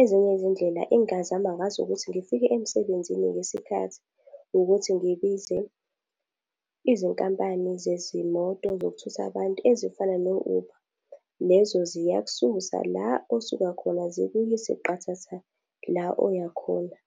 ezinye izindlela engingazama ngazo ukuthi ngifike emsebenzini ngesikhathi ukuthi ngibize izinkampani zezimoto zokuthutha abantu ezifana no-Uber. Lezo ziyakususa la osuka khona zikuyise qathatha la oya khona.